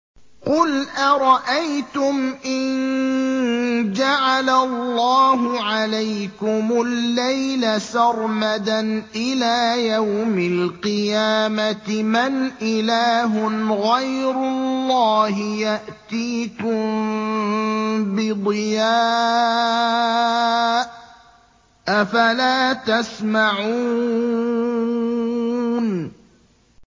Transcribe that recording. قُلْ أَرَأَيْتُمْ إِن جَعَلَ اللَّهُ عَلَيْكُمُ اللَّيْلَ سَرْمَدًا إِلَىٰ يَوْمِ الْقِيَامَةِ مَنْ إِلَٰهٌ غَيْرُ اللَّهِ يَأْتِيكُم بِضِيَاءٍ ۖ أَفَلَا تَسْمَعُونَ